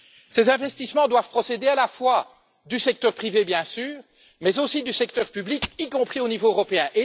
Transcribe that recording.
Ces investissements doivent procéder à la fois du secteur privé, bien sûr, mais aussi du secteur public, y compris au niveau européen.